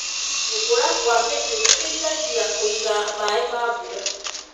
Gũkũra kwa mĩtĩ gũteithagia kũiga maĩ ma mbura.